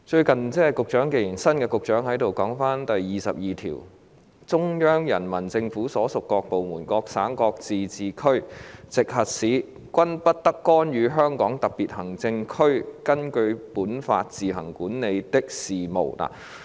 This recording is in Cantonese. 既然新任局長也在席，我想談談《基本法》第二十二條訂明："中央人民政府所屬各部門、各省、自治區、直轄市均不得干預香港特別行政區根據本法自行管理的事務。